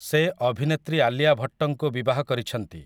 ସେ ଅଭିନେତ୍ରୀ ଆଲିଆ ଭଟ୍ଟଙ୍କୁ ବିବାହ କରିଛନ୍ତି ।